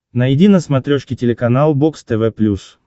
найди на смотрешке телеканал бокс тв плюс